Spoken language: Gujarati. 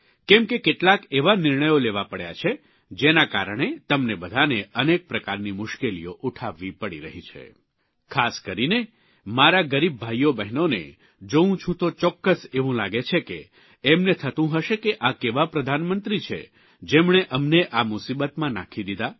કેમ કે કેટલાક એવા નિર્ણયો લેવા પડ્યા છે જેના કારણે તમને બધાને અનેક પ્રકારની મુશ્કેલીઓ ઉઠાવવી પડી રહી છે ખાસ કરીને મારા ગરીબ ભાઇઓ બહેનોને જોઉં છું તો ચોક્કસ એવું લાગે છે કે એમને થતું હશે કે આ કેવા પ્રધાનમંત્રી છે જેમણે અમને આ મુસીબતમાં નાંખી દીધા